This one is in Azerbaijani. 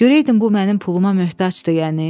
Görəydin bu mənim puluma möhtacdı yəni?